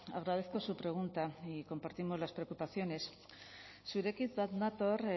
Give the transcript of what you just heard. agradezco su pregunta y compartimos las preocupaciones zurekin bat nator